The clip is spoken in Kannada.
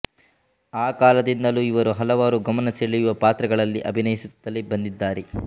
ಆ ಕಾಲದಿಂದಲೂ ಇವರು ಹಲವಾರು ಗಮನ ಸೆಳೆಯುವ ಪಾತ್ರಗಳಲ್ಲಿ ಅಭಿನಯಿಸುತ್ತಲೇ ಬಂದಿದ್ದಾರೆ